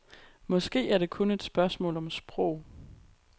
Måske er det kun et spørgsmål om sprog.